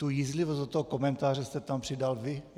Tu jízlivost do toho komentáře jste tam přidal vy.